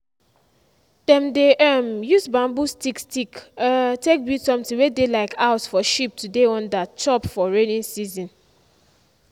dem dey um use bamboo stick stick um take build something wey dey like house for sheep to dey under chop for raining season.